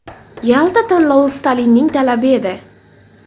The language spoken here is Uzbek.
Yalta tanlovi Stalinning talabi edi.